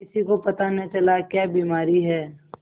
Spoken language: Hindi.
किसी को पता न चला क्या बीमारी है